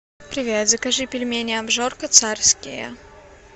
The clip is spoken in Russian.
привет закажи пельмени обжорка царские